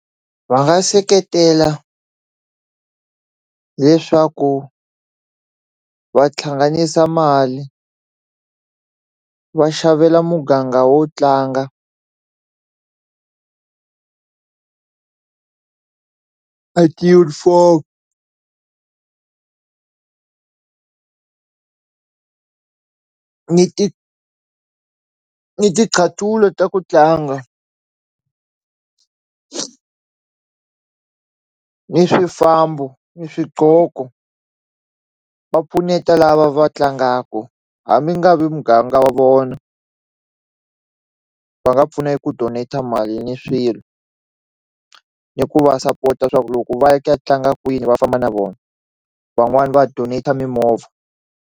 Va nga seketela leswaku va tlhanganisa mali va xavela muganga wo tlanga a tiyunifomu ni ti ni ti nqathulo ta ku tlanga ni swifambo ni swidloko va pfuneta lava va tlangaku ha mi nga vi muganga wa vona va nga pfuna yi ku donat-a mali ni swilo ni ku va sapota swaku loko va ya ku ya tlanga kwini va famba na vona van'wani va donate-a mimovha.